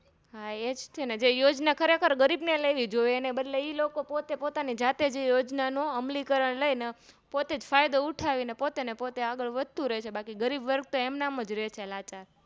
હા એજ તેને જે યોજના ખરેખર ગરીબને લેવી જોઈ એના બદલે ઈલોકો પોતે પોતાની જાતેજ યોજનાનો અમલીકરણ લઈને પોતેજ ફાયદો ઉઠાવી ને પોતે આગળ વધતું રે છે બાકી ગરીબવર્ગ તો એમનામ જ રે છે લાચાર